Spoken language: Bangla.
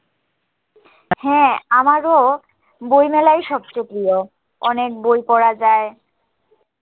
হ্যাঁ আমারো বইমেলায়ই সবচেয়ে প্রিয় অনেক বই পড়া যায়